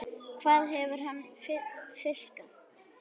Hvað hefur hann fiskað?